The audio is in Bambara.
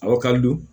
A wakali don